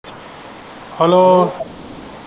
Hello.